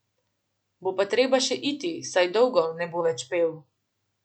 Bo pa treba še iti, saj dolgo ne bo več pel.